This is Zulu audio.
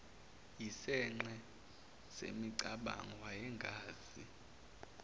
yisinxe semicabango wayengazi